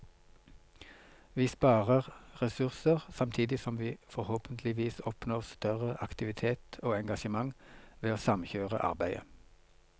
Vi sparer ressurser, samtidig som vi forhåpentligvis oppnår større aktivitet og engasjement ved å samkjøre arbeidet.